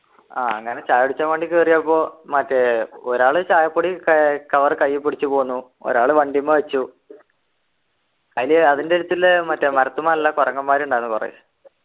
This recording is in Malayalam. ആഹ് അങ്ങനെ ചായ കുടിച്ചാൻ വേണ്ടി കേറിയപ്പോ മറ്റേ ഒരാള് ചായപ്പൊടി ക cover കയ്യിൽ പിടിച്ചു പോന്നു ഒരാള് വണ്ടിമേ വച്ചു അതില് അതിൻ്റെ അടുത്തില്ലേ മറ്റെ മരത്തുമ്മേ നല്ല കൊരങ്ങന്മാർ ഉണ്ടായിരുന്നു കുറെ